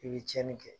I bi tiɲɛni kɛ